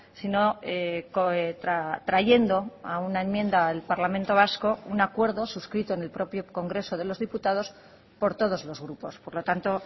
sino trayendo a una enmienda al parlamento vasco un acuerdo suscrito en el propio congreso de los diputados por todos los grupos por lo tanto